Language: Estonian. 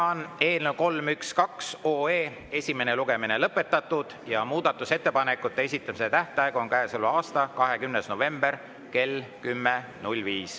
Eelnõu 312 esimene lugemine on lõpetatud ja muudatusettepanekute esitamise tähtaeg on käesoleva aasta 20. november kell 10.05.